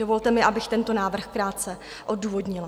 Dovolte mi, abych tento návrh krátce odůvodnila.